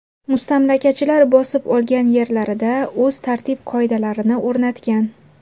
Mustamlakachilar bosib olgan yerlarida o‘z tartib-qoidalarini o‘rnatgan.